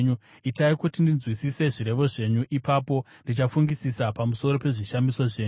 Itai kuti ndinzwisise zvirevo zvenyu; ipapo ndichafungisisa pamusoro pezvishamiso zvenyu.